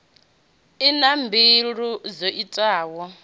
i na buli ḓo itaho